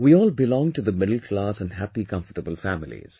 We all belong to the middle class and happy comfortable families